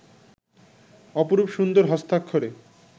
অপরূপ সুন্দর হস্তাক্ষরে